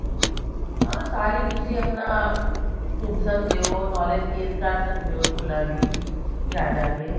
ਹਾਂ ਸਾਲ ਈ ਤੁਸੀਂ ਆਪਣਾ ਘੁੰਮ ਸਕਦੇ ਹੋ knowledge gain ਕਰ ਸਕਦੇ ਹੋ ਸਕੂਲਾ ਦੀ ਜਾ ਜਾ ਕੇ